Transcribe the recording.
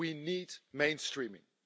We need mainstreaming.